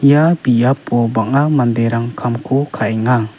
ia biapo bang·a manderang kamko ka·enga.